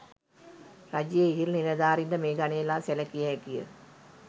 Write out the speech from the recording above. රජයේ ඉහළ නිලධාරීන් ද මේ ගණයේ ලා සැලකිය හැකිය.